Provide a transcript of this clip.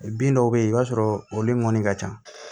Bin dɔw be yen i b'a sɔrɔ olu ŋɔni ka ca